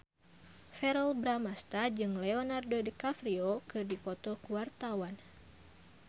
Verrell Bramastra jeung Leonardo DiCaprio keur dipoto ku wartawan